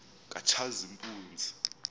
katshazimpunzi